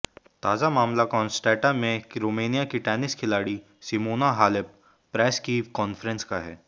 ताजा मामला कॉन्सटैंटा में रोमानिया की टेनिस खिलाड़ी सिमोना हालेप प्रेस की कॉन्फ्रेंस का है